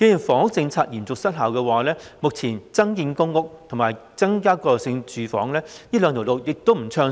房屋政策嚴重失效，增建公屋和增加過渡性房屋這兩條路目前亦不暢順。